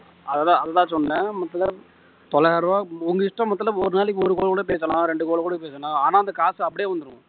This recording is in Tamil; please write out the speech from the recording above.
அதுதான் அதுதான் சொன்னேன். மொத்தத்தில தொள்ளாயிரம் ரூபா உங்க இஷ்டம் மொத்தத்தில ஒரு நாளைக்கு ஒரு call கூட பேசலாம் ரெண்டு call கூட பேசலாம் ஆனா அந்த காசு அப்படியே வந்துடும்.